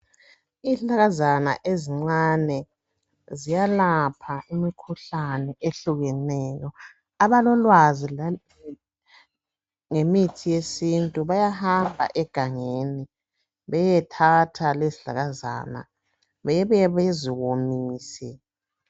Izihlahlakazana ezincane ziyalapha imikhuhlane ehlukeneyo. Abalolwazi ngemithi yesintu bayahamba egangeni beyethatha lezizihlahlakazana bebuye beziwomise.